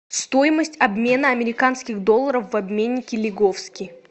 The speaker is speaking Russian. стоимость обмена американских долларов в обменнике лиговский